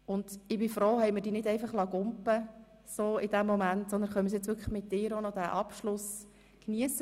Und ich bin froh, haben wir dich nicht vorhin einfach davonspringen lassen, sondern können jetzt mit dir noch diesen Abschluss geniessen.